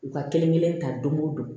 U ka kelen kelen ta don o don